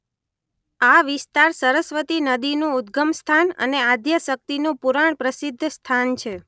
આ વિસ્તાર સરસ્વતી નદીનું ઉદગમસ્થાન અને આદ્યશક્તિનું પુરાણપ્રસિધ્ધ સ્થાન છે.